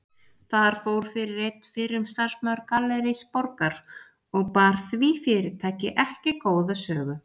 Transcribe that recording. Þar fór fyrir einn fyrrum starfsmaður Gallerís Borgar og bar því fyrirtæki ekki góða sögu.